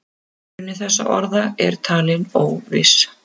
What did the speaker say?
Uppruni þessara orða er talinn óviss.